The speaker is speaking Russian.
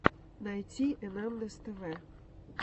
найти энандэс тв